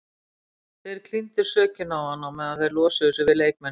Þeir klíndu sökinni á hann meðan þeir losuðu sig við leikmennina.